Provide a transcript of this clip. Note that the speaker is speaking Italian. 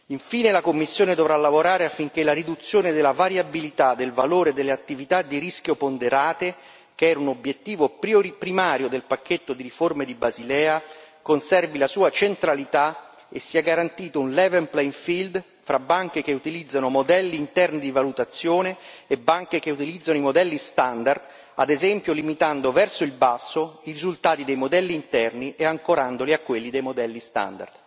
Infine, la Commissione dovrà lavorare affinché la riduzione della variabilità del valore delle attività di rischio ponderate, che era un obiettivo primario del pacchetto di riforme di Basilea, conservi la sua centralità e sia garantito un level playing field fra banche che utilizzano modelli interni di valutazione e banche che utilizzano i modelli standard, ad esempio limitando verso il basso i risultati dei modelli interni e ancorandoli a quelli dei modelli standard.